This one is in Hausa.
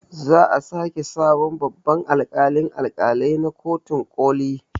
Za a sake sabon babban alƙalin alƙalai na kotun ƙoli